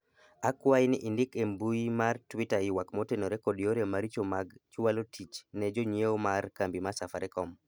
akwayi ni indik e mbui mar twita ywak motenore kod yore maricho mag chwalo tich ne jonyiewo mar kambi safarikom